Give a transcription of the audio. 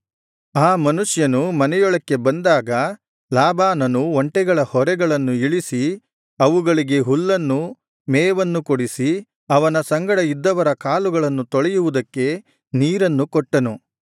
ಆ ಮನುಷ್ಯನು ಮನೆಯೊಳಕ್ಕೆ ಬಂದಾಗ ಲಾಬಾನನು ಒಂಟೆಗಳ ಹೊರೆಗಳನ್ನು ಇಳಿಸಿ ಅವುಗಳಿಗೆ ಹುಲ್ಲನ್ನು ಮೇವನ್ನು ಕೊಡಿಸಿ ಆ ಮನುಷ್ಯನ ಮತ್ತು ಅವನ ಸಂಗಡ ಇದ್ದವರ ಕಾಲುಗಳನ್ನು ತೊಳೆಯುವುದಕ್ಕೆ ನೀರನ್ನು ಕೊಟ್ಟನು